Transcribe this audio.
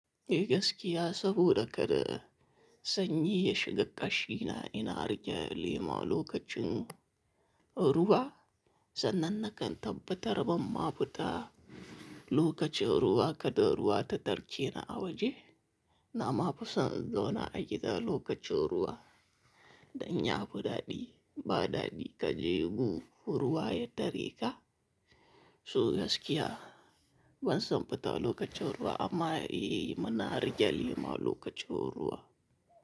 Eh gaskiya saboda kada sanyi ya shiga kashina ina riƙe lema lokacin ruwa. Sannan na kan tabbata rabon masu ta lokacin ruwa kada ruwa ta tarke ni a waje. Na ma fusan in zauna a gida lokacin ruwa dan ya fi daɗi. Ba daɗi ka je gu ruwa ya tare ka. Su gaskiya ban san fita lokacin ruwa amma eh muna riƙe lema lokacin ruwa.